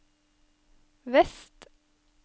vest